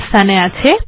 ওটি এখানে আছে